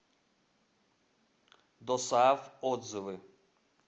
досааф отзывы